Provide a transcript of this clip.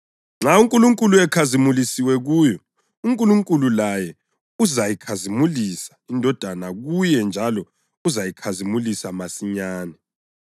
Nxa uNkulunkulu ekhazimulisiwe kuyo, uNkulunkulu laye uzayikhazimulisa iNdodana kuye njalo uzayikhazimulisa masinyane.